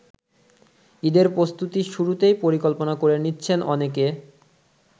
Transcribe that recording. ঈদের প্রস্তুতির শুরুতেই পরিকল্পনা করে নিচ্ছেন অনেকে।